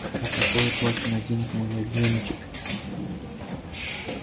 а какое платье наденет мой ягнёночек